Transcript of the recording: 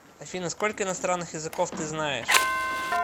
афина сколько иностранных языков ты знаешь